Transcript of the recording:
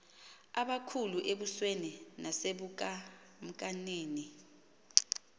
abakhulu embusweni nasebukamkanini